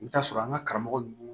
I bɛ t'a sɔrɔ an ka karamɔgɔ ninnu